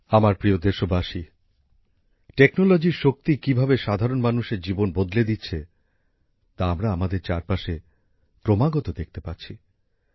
আমার প্রিয় দেশবাসী প্রযুক্তির শক্তি কিভাবে সাধারণ মানুষের জীবন বদলে দিচ্ছে তা আমরা আমাদের চারপাশে ক্রমাগত দেখতে পাচ্ছি